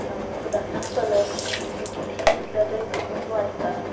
अ मुलांना colours pencils कितीही असल्या तरी कमीच वाटतात.